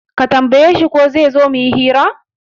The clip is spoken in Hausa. Ka tambaye shi ko shima zaizo muyi hiran?